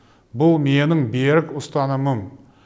бұл менің берік ұстанымым